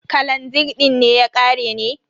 Kalazir din ne ya ƙare ne?